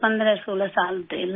16 سال سے ہی لگ گئی